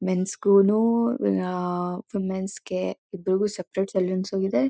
men's school uh uh uh ವಮಿನ್ಸ್ಗೆ ಇಬ್ಬರಿಗೂ separate salons ಇದೆ